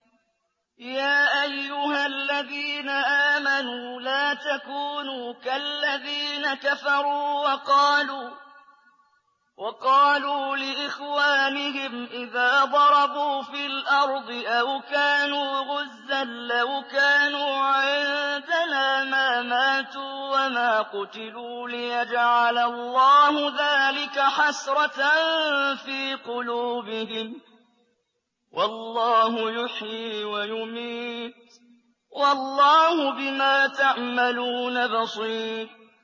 يَا أَيُّهَا الَّذِينَ آمَنُوا لَا تَكُونُوا كَالَّذِينَ كَفَرُوا وَقَالُوا لِإِخْوَانِهِمْ إِذَا ضَرَبُوا فِي الْأَرْضِ أَوْ كَانُوا غُزًّى لَّوْ كَانُوا عِندَنَا مَا مَاتُوا وَمَا قُتِلُوا لِيَجْعَلَ اللَّهُ ذَٰلِكَ حَسْرَةً فِي قُلُوبِهِمْ ۗ وَاللَّهُ يُحْيِي وَيُمِيتُ ۗ وَاللَّهُ بِمَا تَعْمَلُونَ بَصِيرٌ